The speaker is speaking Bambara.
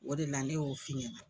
O de la ne y'o f'i ɲɛna.